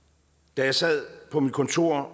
da jeg sad på mit kontor